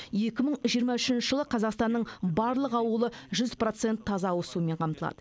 екі мың жиырма үшінші жылы қазақстанның барлық ауылы жүз процент таза ауызсумен қамтылады